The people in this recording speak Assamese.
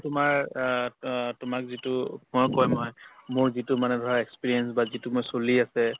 তোমাৰ অ অ তোমাক যিটো মই কৈ মই মোৰ যিটো মানে ধৰা experience বা যিটো মোৰ চলি আছে